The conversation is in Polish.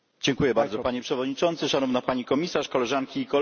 Panie Przewodniczący, Szanowna Pani Komisarz, Koleżanki i Koledzy!